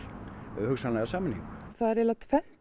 hugsanlega sameiningu það er aðallega tvennt